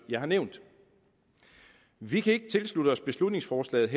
jeg har nævnt vi kan ikke tilslutte os beslutningsforslaget